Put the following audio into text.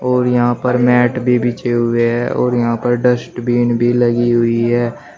और यहां पर मैट भी बिछे हुए हैं और यहां पर डस्टबिन भी लगी हुई है।